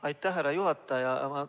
Aitäh, härra juhataja!